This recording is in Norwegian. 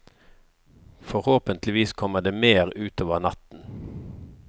Forhåpentlig kommer det mer utover natten.